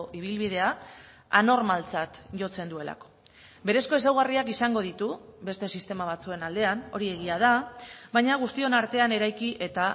ibilbidea anormaltzat jotzen duelako berezko ezaugarriak izango ditu beste sistema batzuen aldean hori egia da baina guztion artean eraiki eta